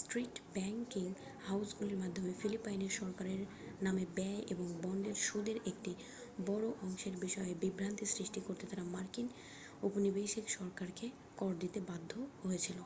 street banking হাউসগুলির মাধ্যমে ফিলিপাইনের সরকারের নামে ব্যয় ও বন্ডের সুদের একটি বড় অংশের বিষয়ে বিভ্রান্তি সৃষ্টি করতে তারা মার্কিন ঔপনিবেশিক সরকারকে কর দিতে বাধ্য হয়েছিল